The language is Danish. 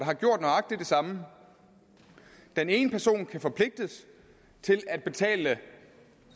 har gjort nøjagtig det samme den ene person kan forpligtes til at betale